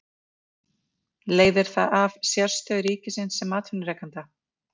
Leiðir það af sérstöðu ríkisins sem atvinnurekanda.